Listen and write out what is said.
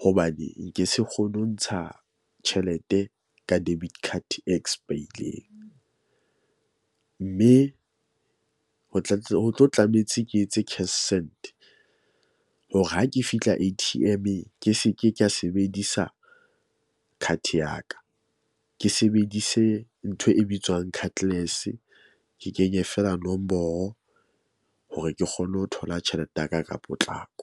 Hobane nke se kgone ho ntsha tjhelete ka debit card e expire-ileng mme ho tla ho tlo tlametse ke etse cash send. Hore ha ke fihla A_T_M-eng, ke se ke ka sebedisa card ya ka. Ke sebedise ntho e bitswang cardless. Ke kenye feela nomoro hore ke kgone ho thola tjhelete ya ka ka potlako.